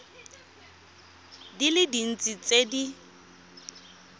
di le dintsi tse di